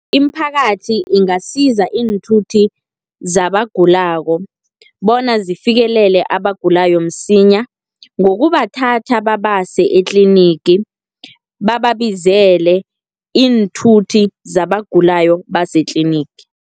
Imiphakathi ingasiza iinthuthi zabagulako, bona zifikelele abagulako msinya, ngokubathatha babase etlinigi, bababizele iinthuthi zabagulako basetlinigi.